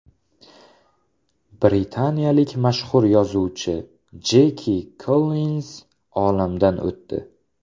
Britaniyalik mashhur yozuvchi Jeki Kollinz olamdan o‘tdi .